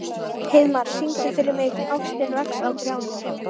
Heiðmar, syngdu fyrir mig „Ástin vex á trjánum“.